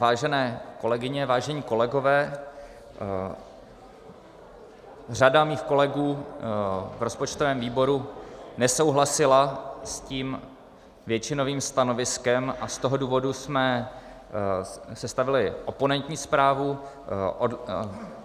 Vážené kolegyně, vážení kolegové, řada mých kolegů v rozpočtovém výboru nesouhlasila s tím většinovým stanoviskem a z toho důvodu jsme sestavili oponentní zprávu.